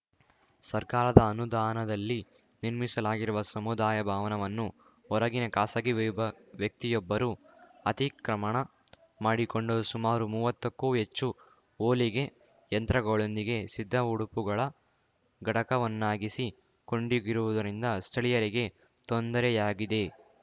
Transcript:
ಸರ್ಕಾರದ ಅನುದಾನದಲ್ಲಿ ನಿರ್ಮಿಸಲಾಗಿರುವ ಸಮುದಾಯ ಭವನವನ್ನು ಹೊರಗಿನ ಖಾಸಗಿ ವಿಭಾ ವ್ಯಕ್ತಿಯೊಬ್ಬರು ಅತಿಕ್ರಮಣ ಮಾಡಿಕೊಂಡು ಸುಮಾರು ಮೂವತ್ತಕ್ಕೂ ಹೆಚ್ಚು ಹೊಲಿಗೆ ಯಂತ್ರಗಳೊಂದಿಗೆ ಸಿದ್ದ ಉಡುಪುಗಳ ಘಟಕವನ್ನಾಗಿಸಿ ಕೊಂಡಿಗಿರುವುದರಿಂದ ಸ್ಥಳೀಯರಿಗೆ ತೊಂದರೆಯಾಗಿದೆ